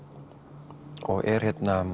er